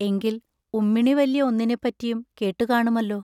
എങ്കിൽ ഉമ്മിണി വല്യ ഒന്നിനെപ്പറ്റിയും കേട്ടു കാണുമല്ലോ!